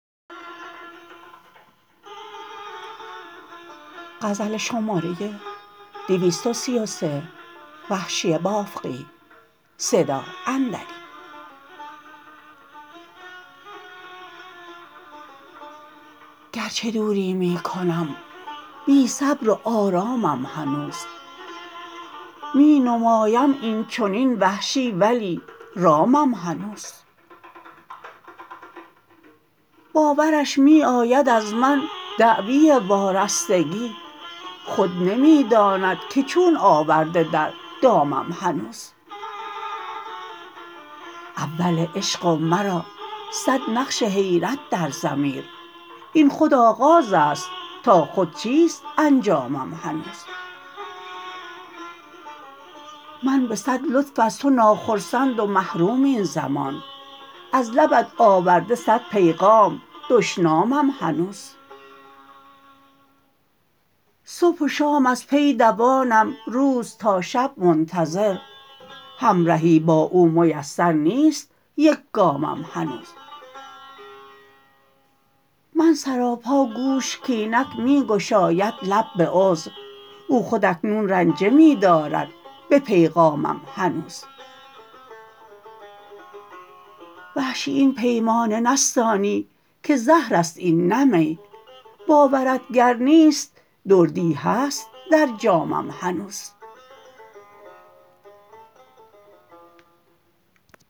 گرچه دوری می کنم بی صبر و آرامم هنوز می نمایم اینچنین وحشی ولی رامم هنوز باورش می آید از من دعوی وارستگی خود نمی داند که چون آورده در دامم هنوز اول عشق و مرا سد نقش حیرت در ضمیر این خود آغاز است تا خود چیست انجامم هنوز من به سد لطف از تو ناخرسند و محروم این زمان از لبت آورده سد پیغام دشنامم هنوز صبح و شام از پی دوانم روز تا شب منتظر همرهی با او میسر نیست یک گامم هنوز من سراپا گوش کاینک می گشاید لب به عذر او خود اکنون رنجه می دارد به پیغامم هنوز وحشی این پیمانه نستانی که زهر است این نه می باورت گر نیست دردی هست در جامم هنوز